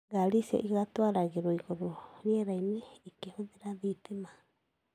Ngari icio ĩgatuaragerwo igũrũ rĩera-inĩ ikĩhũthĩra thitima.